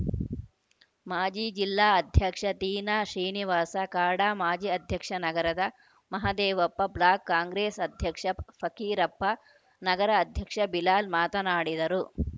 ಮಾಜಿ ಜಿಲ್ಲಾ ಅಧ್ಯಕ್ಷ ತೀನಾಶ್ರೀನಿವಾಸ ಕಾಡಾ ಮಾಜಿ ಅಧ್ಯಕ್ಷ ನಗರದ ಮಹದೇವಪ್ಪ ಬ್ಲಾಕ್‌ ಕಾಂಗ್ರೆಸ್‌ ಅಧ್ಯಕ್ಷ ಫಕ್ಕೀರಪ್ಪ ನಗರ ಅಧ್ಯಕ್ಷ ಬಿಲಾಲ್‌ ಮಾತನಾಡಿದರು